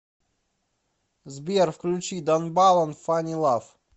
сбер включи дан балан фани лав